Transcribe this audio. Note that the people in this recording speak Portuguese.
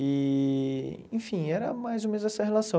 E, enfim, era mais ou menos essa relação.